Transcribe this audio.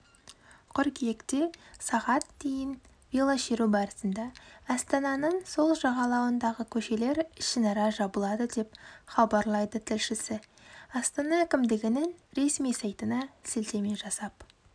қыркүйекте сағат дейін велошеру барысында астананың сол жағалауындағы көшелер ішінара жабылады деп хабарлайды тілшісі астана әкімдігінің ресми сайтына сілтеме жасап